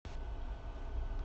сбер включи песня гуфи губер рок